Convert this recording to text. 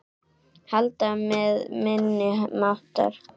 Halda með minni máttar.